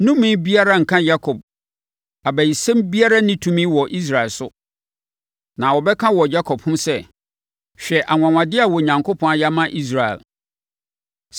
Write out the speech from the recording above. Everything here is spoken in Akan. Nnome biara renka Yakob, abayisɛm biara nni tumi wɔ Israel so. Na wɔbɛka wɔ Yakob ho sɛ, ‘Hwɛ anwanwadeɛ a Onyankopɔn ayɛ ama Israel!’